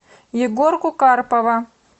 егорку карпова